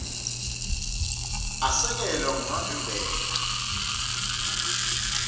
asekelwa ngumavimbela l